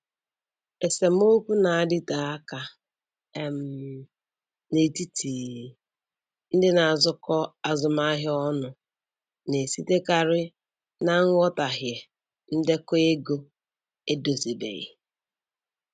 Esemokwu na-adịte aka um n'etiti ndị na-azụkọ azụmahịa ọnụ na-esitekarị na nghọtahie ndekọ ego edozibeghị.